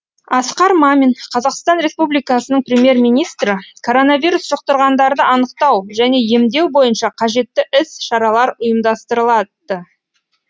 асқар мамин қазақстан республикасының премьер министрі коронавирус жұқтырғандарды анықтау және емдеу бойынша қажетті іс шаралар ұйымдастырылды